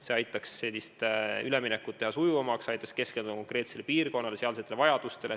See aitaks üleminekut sujuvamaks muuta, aitaks keskenduda konkreetsele piirkonnale, sealsetele vajadustele.